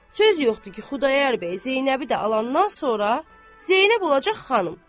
Söz yoxdur ki, Xudayar bəy Zeynəbi də alandan sonra Zeynəb olacaq xanım.